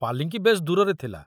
ପାଲିଙ୍କି ବେଶ ଦୂରରେ ଥିଲା।